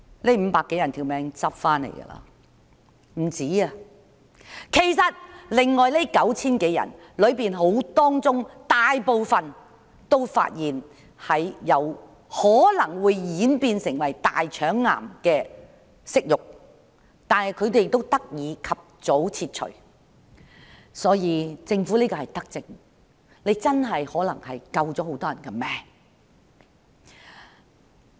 其實，撿回性命的不止他們，其餘的 9,000 多人當中，大部分都被發現有可能會演變成大腸癌的瘜肉，但因為這個計劃，他們得以及早切除瘜肉。